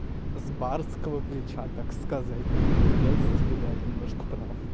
с барского плеча так сказать придётся тебе дать немножко прав